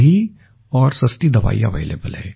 सही और सस्ती दवाईया अवेलेबल है